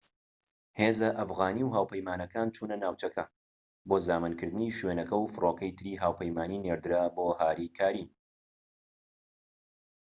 هێزە ئەفغانی و هاوپەیمانەکان چونە ناوچەکە بۆ زامنکردنی شوێنەکە و فرۆکەی تری هاوپەیمانی نێردرا بۆ هاریکاری